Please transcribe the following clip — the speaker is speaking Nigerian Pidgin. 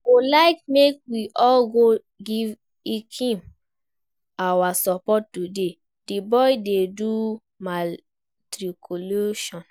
I go like make we all go give Ikem our support today, the boy dey do matriculation